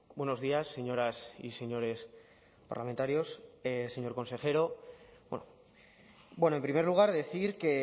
buenos días señoras y señores parlamentarios señor consejero bueno en primer lugar decir que